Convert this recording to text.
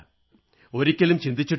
ഒരിക്കലും ചിന്തിച്ചിട്ടുമില്ല